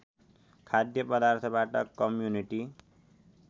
खाद्य पदार्थबाट कम्युनिटी